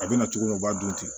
A bɛna cogo min na o b'a dun ten